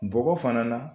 Bɔgɔ fana na